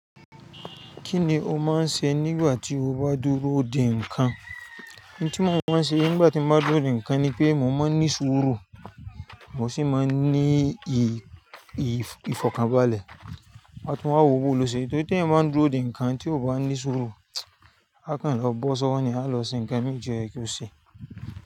Kí ni o máa ń ṣe nígbà tí o bá dúró dè ǹkan? Ohun tí mo máa ń ṣe nígbà tí mo bá dúró dè ǹkan ni pé mo máa ń ní sùúrù, mo sì máa ń ní ì-ìfọ̀kànbalẹ̀. Wọ́n tún wáa wowo lọ ṣe, torí tí ẹ máa ń dúró dè ǹkan tí o bá ní sùúrù, akàn lọ bọ́ sọ wọ́n ni a lọ ṣe ǹkan mì ti o ye kí ó ṣe.